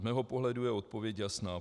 Z mého pohledu je odpověď jasná.